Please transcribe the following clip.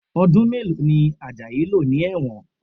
Ọdún mélòó ni Ajayi lò ní ẹ̀wọ̀n?